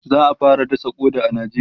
za'a fara dasa ƙoda a nijeriya